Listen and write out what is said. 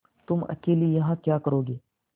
तुम अकेली यहाँ क्या करोगी